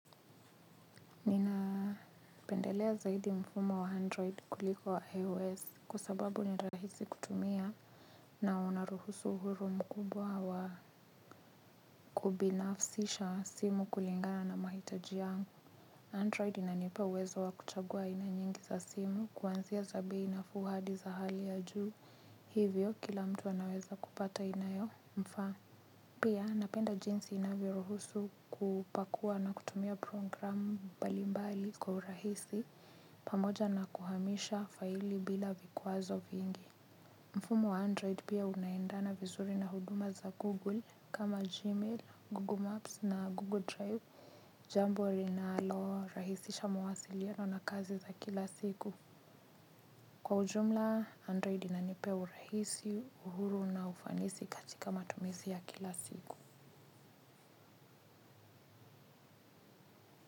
Ninapendelea zaidi mfumo wa android kuliko wa ios kwa sababu ni rahisi kutumia na unaruhusu huru mkubwa wa kubinafsisha simu kulingana na mahitaji yangu android inanipa uwezo wa kuchagua aina nyengi za simu kuanzia za bei nafuu hadi za hali ya juu hivyo kila mtu anaweza kupata inayomfaa. Pia napenda jinsi inavyoruhusu kupakua na kutumia programu mbalimbali kwa urahisi pamoja na kuhamisha faili bila vikwazo vingi. Mfumo wa Android pia unaendana vizuri na huduma za Google kama Gmail, Google Maps na Google Drive jambo linalo rahisisha mwasiliano na kazi za kila siku. Kwa ujumla, Android inanipea urahisi, uhuru na ufanisi katika matumizi ya kila siku.